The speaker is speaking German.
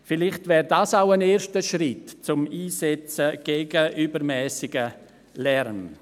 Vielleicht wäre das auch ein erster Schritt für den Einsatz gegen übermässigen Lärm.